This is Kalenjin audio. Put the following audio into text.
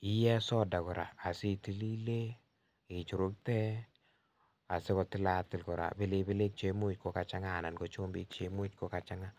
iyee soda koraa asitilile ichurukte asikotilatil koraa pilipilik cheimuch kokachang'a anan ko chumbik cheimuch koga chang'a.